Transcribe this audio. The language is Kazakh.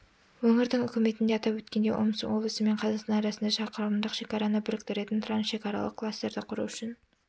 өңірдің үкіметінде атап өткендей омск облысы мен қазақстан арасында шақырымдық шекараны біріктіретін трансшекаралық кластерді құру үшін